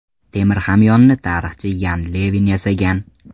Temir hamyonni tarixchi Yan Levin yasagan.